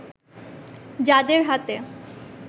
যাঁদের হাতে